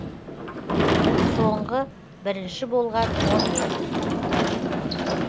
соңғы бірінші болған он ел